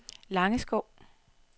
Langeskov